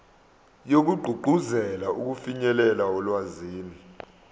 wokugqugquzela ukufinyelela olwazini